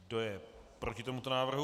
Kdo je proti tomuto návrhu?